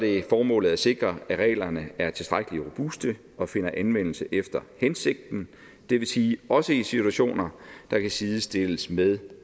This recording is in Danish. er formålet at sikre at reglerne er tilstrækkelig robuste og finder anvendelse efter hensigten det vil sige også i situationer der kan sidestilles med